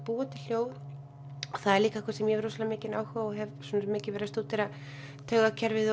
búa til hljóð og það er líka eitthvað sem ég hef rosalega mikinn áhuga á ég hef mikið verið að stúdera taugakerfið